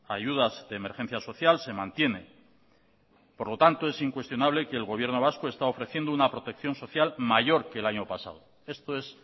ayudas de emergencia social se mantiene por lo tanto es incuestionable que el gobierno vasco está ofreciendo una protección social mayor que el año pasado esto es